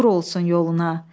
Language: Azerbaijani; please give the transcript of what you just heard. Uğur olsun yoluna.